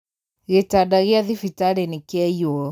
Gĩtanda gĩa thibitarĩnĩkĩaiyo.